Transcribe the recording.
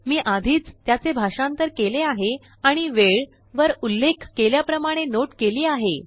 मी आधीच त्याचे भाषांतर केलेआहे आणि वेळ वरउल्लेख केल्याप्रमाणेनोट केली आहे